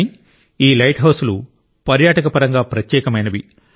కాని ఈ లైట్ హౌస్లు పర్యాటక పరంగా ప్రత్యేకమైనవి